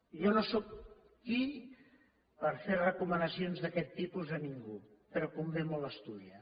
jo no sóc qui per fer recomanacions d’aquest tipus a ningú però convé molt estudiar